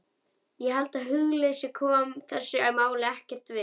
Ég held að hugleysi komi þessu máli ekkert við.